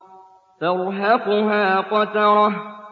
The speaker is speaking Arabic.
تَرْهَقُهَا قَتَرَةٌ